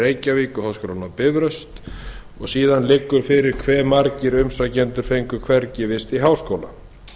háskólann í reykjavík og háskólann á bifröst liggur fyrir hve margir umsækjendur fengu hvergi vist í háskóla